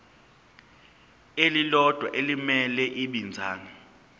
elilodwa elimele ibinzana